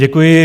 Děkuji.